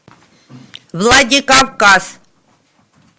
владикавказ